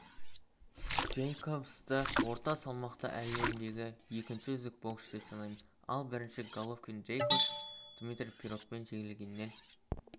джейкобсты орта салмақта әлемдегі екінші үздік боксшы деп санаймын ал бірінші головкин джейкобс дмитрий пирогтан жеңілгеннен